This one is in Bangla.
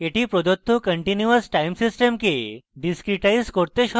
এটি প্রদত্ত continuous time system কে discretize করতে সহায়ক